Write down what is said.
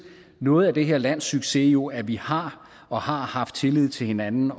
noget af det her lands succes jo at vi har og har haft tillid til hinanden